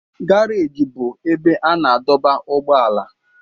Garaji bụ ebe a na-adọba ụgbọala.